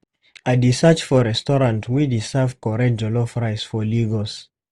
I dey search for restaurant wey dey serve correct jollof rice for Lagos.